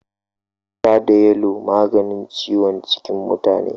Ja da yalo yana maganin ciwon cikin mutane.